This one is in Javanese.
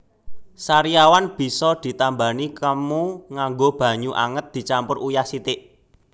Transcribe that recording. Sariawan bisa ditambani kemu nganggo banyu anget dicampur uyah sithik